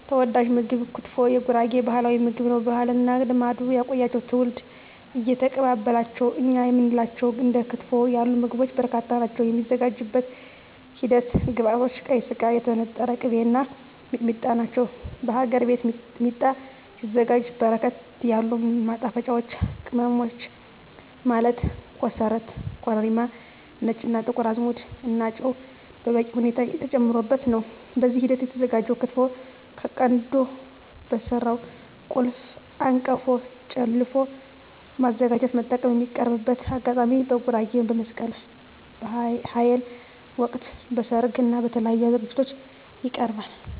ተወዳጅ ምግብ ክትፎ የጉራጌ ባህላዊ ምግብ ነው። ባህልና ልማድ ያቆያቸው ትውልድ እየተቀባበላቸው የእኛ የምንላቸው እንደ ክትፎ ያሉ ምግቦች በርካታ ናቸው። የሚዘጋጅበት ሂደት ግብዐቶች ቀይ ስጋ, የተነጠረ ቅቤ , እና ሚጥሚጣ ናቸው። በሀገር ቤት ሚጥሚጣ ሲዘጋጅ በርከት ያሉ ማጣፈጫወች ቅመሞች ማለት ኮሰረት , ኮረሪማ , ነጭ እና ጥቁር አዝሙድ እና ጨው በበቂ ሁኔታ ተጨምሮበት ነው። በዚህ ሂደት የተዘጋጀው ክትፎ ከቀንድ በተሰራው ጭልፋ/አንቀፎ ጨለፎ በማዘጋጀት መጠቀም። የሚቀርብበት አጋጣሚ በጉራጌ በመስቀል በሀል ወቅት, በሰርግ እና በተለያዪ ዝግጅቶች ይቀርባል።።